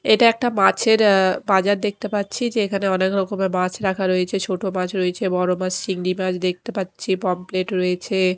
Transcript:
এটা একটা মাছের বাজার দেখতে পাচ্ছি যেখানে অনেক রকমের মাছ রাখা রয়েছে ছোট মাছ রয়েছে বড়ো মাছ সিঙ্গি মাছ দেখতে পাচ্ছি পমফ্রেট রয়েছে ।